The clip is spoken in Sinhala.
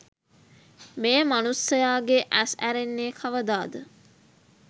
මේ මනුස්සයාගේ ඇස් ඇරෙන්නෙ කවදාද?